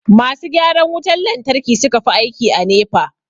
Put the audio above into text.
masu gyaran wutan lantarki suka fi aiki a NEPA